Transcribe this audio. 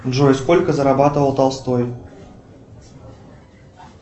джой сколько зарабатывал толстой